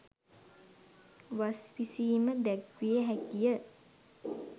වස් විසීම දැක්විය හැකිය.